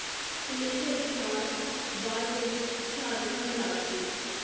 ਹਮੇਸ਼ਾ ਬਿਹਾਰ, ਬਾਅਦ ਵਿੱਚ ਝਾਰਖੰਡ ਰਾਜ ਵਿੱਚ।